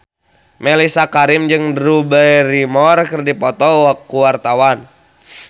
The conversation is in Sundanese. Mellisa Karim jeung Drew Barrymore keur dipoto ku wartawan